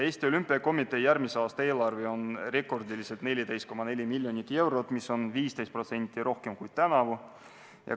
Eesti Olümpiakomitee järgmise aasta eelarve on rekordilised 14,4 miljonit eurot, mis on 15% rohkem kui tänavu.